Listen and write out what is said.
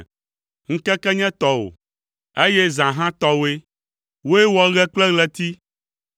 Ŋkeke nye tɔwò, eye zã hã tɔwòe; wòe wɔ ɣe kple ɣleti.